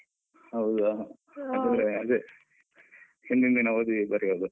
ಹೌದಾ ಅಂದ್ರೆ ಅದೇ ಹಿಂದಿನ್ ದಿನ ಓದಿ ಬರೆಯೋದು.